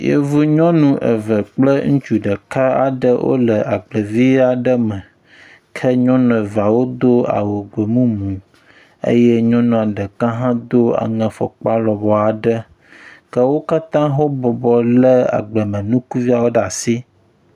yevu nyɔnu eve kple ŋutsu ɖeka wóle agble vi aɖe me, ke nyɔnu eveawo dó awu gbemumu eye ŋutsu ɖeka hã dó afɔkpa lɔbɔɔ aɖe ke wókatã wó bɔbɔ le agbleme ŋkuviawo le asi